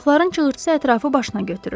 Uşaqların çığırtısı ətrafı başına götürür.